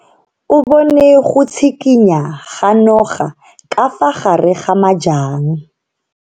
O bone go tshikinya ga noga ka fa gare ga majang.